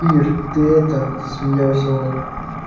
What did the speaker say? ир ты это засмеялся он